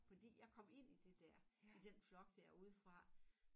Fordi jeg kom ind i det dér i den flok dér udefra